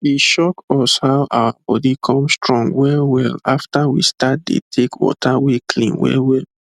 e shock us how our body come strong wellwell after we start de take water wey clean well well